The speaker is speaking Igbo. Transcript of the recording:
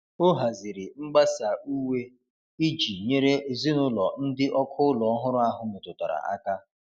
O haziri mgbasa uwe iji nyere ezinụlọ ndị ọkụ ụlọ ọhụrụ ahụ metụtara aka.